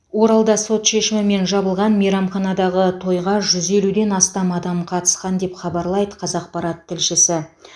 оралда сот шешімімен жабылған мейрамханадағы тойға жүз елуден астам адам қатысқан деп хабарлайды қазақпарат тілшісі